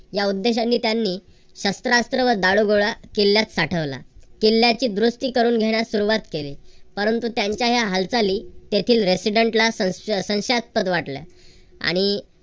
या उद्देशाने त्यांनी शस्त्रास्त्र व दारूगोळा किल्ल्यात साठवला. किल्ल्याची दुरुस्ती करून घेण्यास सुरुवात केली. परंतु त्यांच्या या हालचाली तेथील resident ला संशयासंशयास्पद वाटल्या. आणि